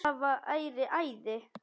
Það væri æði